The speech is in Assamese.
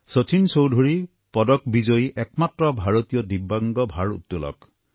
শচীন চৌধুৰী পদক বিজয়ী একমাত্ৰ ভাৰতীয় দিব্যাংগ ভাৰত্তোলক